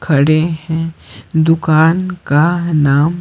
खड़े हैं दुकान का नाम--